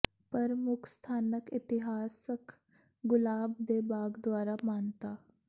ਪਰ ਮੁੱਖ ਸਥਾਨਕ ਇਤਿਹਾਸਕ ਗੁਲਾਬ ਦੇ ਬਾਗ ਦੁਆਰਾ ਮਾਨਤਾ